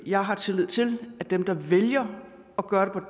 jeg har tillid til at dem der vælger at gøre